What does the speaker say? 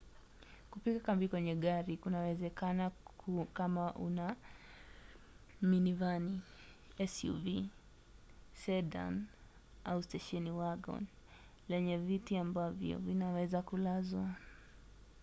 kupiga kambi kwenye gari kunawezekana kama una minivani suv sedan au stesheni wagon lenye viti ambavyo vinaweza kulazwa